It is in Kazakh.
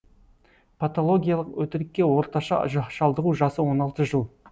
патологиялық өтірікке орташа шалдығу жасы он алты жыл